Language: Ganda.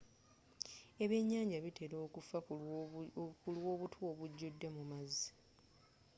ebyennyanja bitera okufa kulwa obutwa obungi obujjude mu maazi